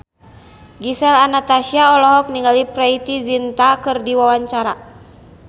Gisel Anastasia olohok ningali Preity Zinta keur diwawancara